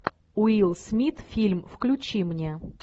уилл смит фильм включи мне